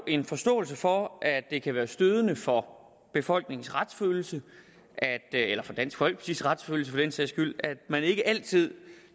en forståelse for at det kan være stødende for befolkningens retsfølelse eller for dansk folkepartis retsfølelse skyld at man ikke altid